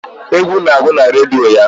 Egwu na-agụ na redio ya.